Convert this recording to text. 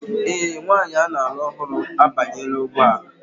Ee, nwanyị a na-alụ ọhụrụ abanyela ụgbọ ala